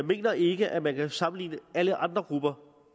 mener ikke at man kan sammenligne alle andre grupper